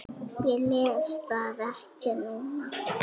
Ég les það ekki núna.